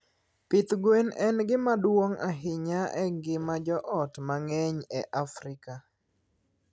Pidh gwen en gima duong' ahinya e ngima joot mang'eny e Afrika.